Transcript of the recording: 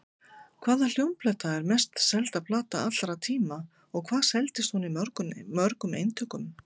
Hvaða hljómplata er mest selda plata allra tíma og hvað seldist hún í mörgum eintökum?